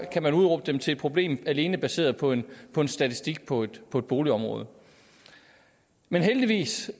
kan udråbe dem til et problem alene baseret på en statistik på et boligområde men heldigvis